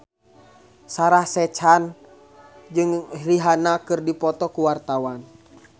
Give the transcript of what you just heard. Sarah Sechan jeung Rihanna keur dipoto ku wartawan